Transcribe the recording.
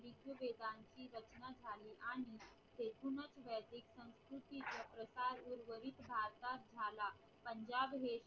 पंजाब हे